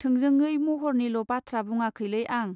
थोंजोंयै महरनिल बाथ्रा बुङाखैलै आं.